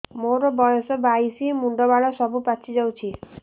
ମୋର ବୟସ ବାଇଶି ମୁଣ୍ଡ ବାଳ ସବୁ ପାଛି ଯାଉଛି